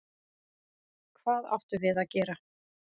Hvað áttum við að gera?